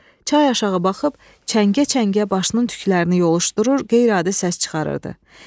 Çay aşağı baxıb, çəngə-çəngə başının tüklərini yoluşdurur, qeyri-adi səs çıxarırdı.